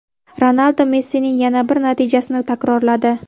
Ronaldu Messining yana bir natijasini takrorladi.